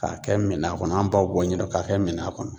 K'a kɛ minan kɔnɔ an b'aw bɔ ɲɛdɔn k'a kɛ minan kɔnɔ.